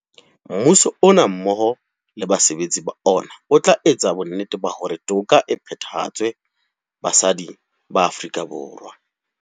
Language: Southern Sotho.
Mmuso ona mmoho le basebetsi ba ona o tla etsa bonnete ba hore toka e phethahatswe basading ba Aforika Borwa.